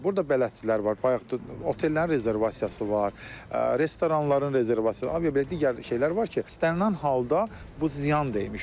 Burda bələdçilər var, bayaq otellərin rezervasiyası var, restoranların rezervasiyası, aviabilet digər şeylər var ki, istənilən halda bu ziyan dəyirmiş olur.